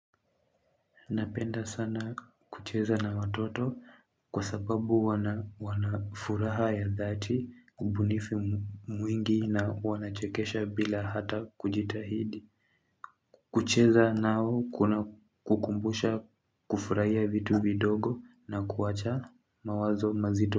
Napenda sana kucheza na watoto kwa sababu wanafuraha ya dhati ubunifu mwingi na wanachekesha bila ata kujitahidi. Kucheza nao kuna kukumbusha kufurahia vitu vidogo na kuwacha mawazo mazito.